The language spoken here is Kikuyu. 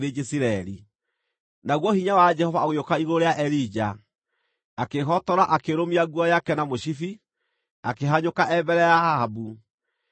Naguo hinya wa Jehova ũgĩũka igũrũ rĩa Elija, akĩĩhotora akĩrũmia nguo yake na mũcibi, akĩhanyũka e mbere ya Ahabu, o nginya Jezireeli.